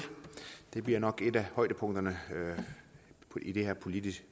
det bliver nok et af højdepunkterne i det her politiske